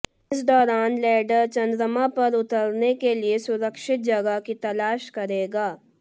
इस दौरान लैंडर चंद्रमा पर उतरने के लिए सुरक्षित जगह की तलाश करेगा